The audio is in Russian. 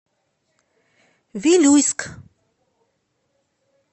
вилюйск